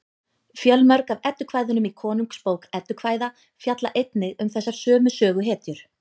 fjölmörg af eddukvæðunum í konungsbók eddukvæða fjalla einnig um þessar sömu söguhetjur